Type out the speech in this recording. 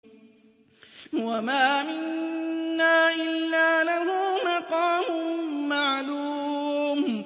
وَمَا مِنَّا إِلَّا لَهُ مَقَامٌ مَّعْلُومٌ